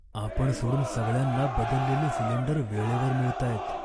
आपण सोडून सगळ्यांना बदललेले सिलेंडर वेळेवर मिळतायेत.